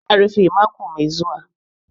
Za'a rufe mako mai zuwa.